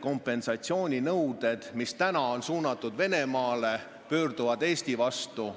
kompensatsiooninõuded, mis praegu on esitatud Venemaale, Eesti vastu.